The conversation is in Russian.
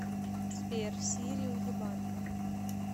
сбер сири уебанка